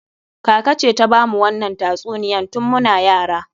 Kaka ce ta bamu wannan tatsuniyan tun muna yara.